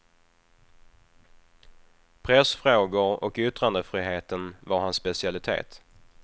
Pressfrågor och yttrandefriheten var hans specialitet.